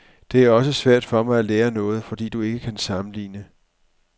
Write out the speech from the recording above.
Det er også svært for mig at lære noget, fordi du ikke kan sammenligne.